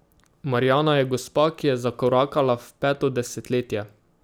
Marjana je gospa, ki je zakorakala v peto desetletje.